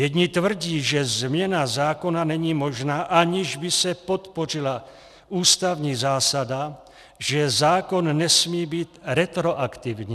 Jedni tvrdí, že změna zákona není možná, aniž by se podpořila ústavní zásada, že zákon nesmí být retroaktivní.